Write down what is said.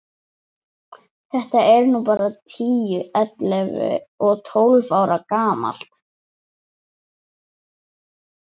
Þetta er nú bara tíu, ellefu og tólf ára gamalt.